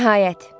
Nəhayət.